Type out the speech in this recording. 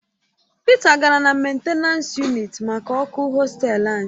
Pita gara na mentenans yunịt maka ọkụ hostelu anyị